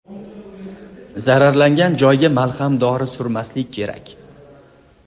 Zararlangan joyga malham dori surmaslik kerak.